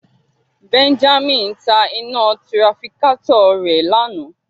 Benjamin ta ina tirafikatọ rẹ lana